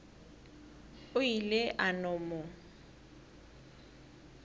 o ile a no mo